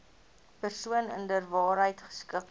persoon inderwaarheid geskik